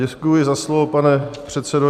Děkuji za slovo, pane předsedo.